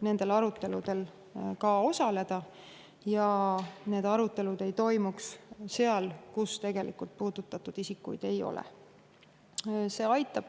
nendel aruteludel osaleda ja need arutelud ei toimuks seal, kus neid puudutatud isikuid tegelikult ei ole.